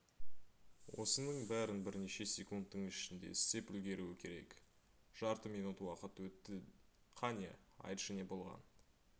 осының бәрін бірнеше секундтың ішінде істеп үлгеруі керек жарты минут уақыт өтті қане айтшы не болған